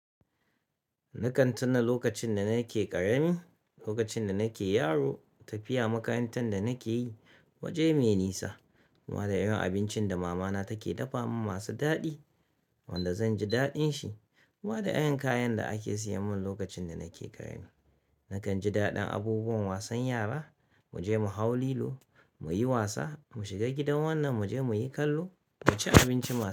Nakan tuna lokacin da nake ƙarami, lokacin da nake yaro, tafiya makarantar da nake yi, waje mai nisa. Har ma da irin abincin da mamana take dafa min masu daɗi wanda zanji daɗin shi. Har ma da irin kayan da ake siyan min lokacin da nake ƙarami. Nakan ji daɗin abubuwan wasan yara, muje mu hau lilo, muyi wasa, mu shiga gidan wannan, muje muyi kallo, muci abinci.